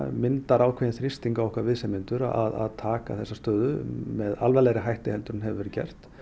myndar ákveðinn þrýsting á okkar viðsemjendur að taka þessa stöðu með alvarlegri hætti en hefur verið gert